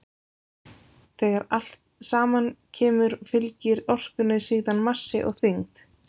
Þegar saman kemur fylgir orkunni síðan massi og þyngd.